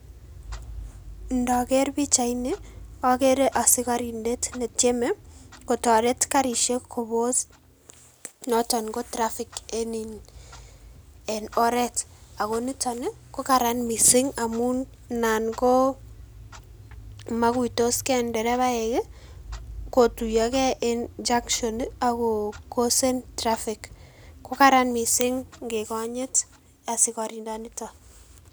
Indoker pichaini okere asikorindet netieme kotoret karishek kobos noton ko traffic en oreet ak ko niton ko karan mising amun naan ko mokuitos kee nderebaek kotuyoke en junction ak ko kosen traffic, ko karan mising ng'ekonyit asikorindoniton.